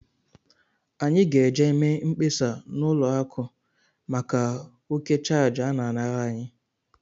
Anyị ga-eje mee mkpesa n' ụlọ akụ maka òkè chárge ana- anara anyị.